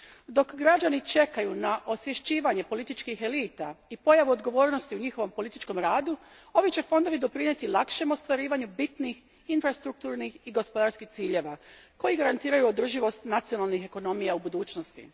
Dok građani čekaju na osvješćivanje političkih elita i pojavu odgovornosti u njihovom političkom radu, ovi će fondovi doprinijeti lakšem ostvarivanju bitnih infrastrukturnih i gospodarskih ciljeva koji garantiraju održivost nacionalnih ekonomija u budućnosti.